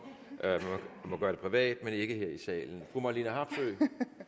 man må gøre det privat men ikke her i salen fru marlene harpsøe